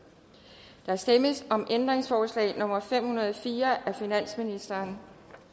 der stemmes om ændringsforslag nummer fem hundrede og fire af finansministeren